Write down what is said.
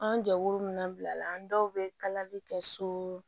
An jɛkulu min na bila an dɔw bɛ kalali kɛ so